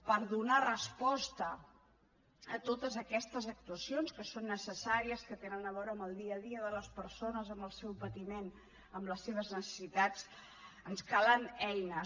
per donar resposta a totes aquestes actuacions que són necessàries que tenen a veure amb el dia a dia de les persones amb el seu patiment amb les seves necessitats ens calen eines